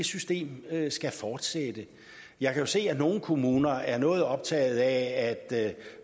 system skal fortsætte jeg kan jo se at nogle kommuner er noget optaget af at